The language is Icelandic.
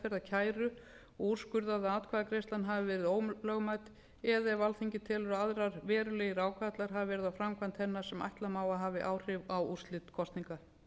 meðferðar kæru og úrskurðað að atkvæðagreiðslan hafi verið ólögmæt eða alþingi telur að aðrir verulegir ágallar hafi verið á framkvæmd hennar sem ætla má að hafi áhrif á úrslit kosninga